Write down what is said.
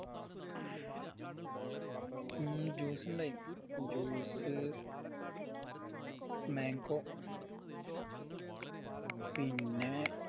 ഹും juice ഇണ്ടായിന് juice mango പിന്നെ